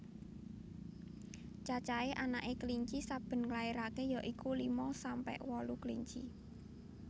Cacahé anaké kelinci saben nglairaké ya iku lima sampe wolu kelinci